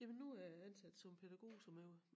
Jamen nu er jeg ansat som pædagog som jeg jo